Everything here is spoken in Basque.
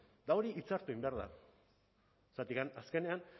eta hori hitzartu egin behar da zergatik azkenean